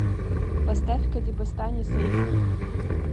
поставь кадебостани сейв ми